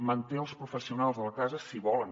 manté els professionals de la casa si volen